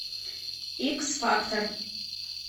икс фактор